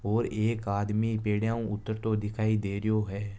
और एक आदमी पेडिया ऊ उतरते दिखय दे रो है।